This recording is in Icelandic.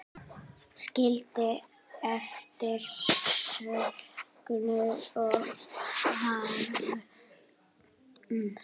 Skildi eftir söknuð og harm.